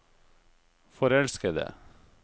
forelskede